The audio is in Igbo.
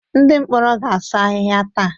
Ndị mkpọrọ ga-asụ ahịhịa taa.